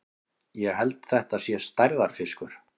Ég held þetta sé stærðarfiskur!